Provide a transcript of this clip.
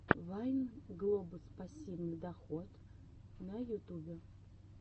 вайн глобус пассивный доход на ютубе